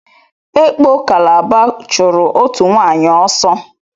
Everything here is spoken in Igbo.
Ekpo Kalaba chụrụ òtù nwaanyị ọsọ.